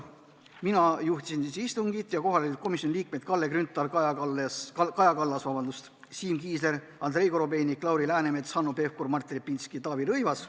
Mina juhtisin istungit ja kohal olid komisjoni liikmed Kalle Grünthal, Kaja Kallas, Siim Kiisler, Andrei Korobeinik, Lauri Läänemets, Hanno Pevkur, Martin Repinski ja Taavi Rõivas.